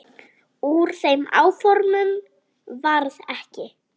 Úr þeim áformum varð ekki.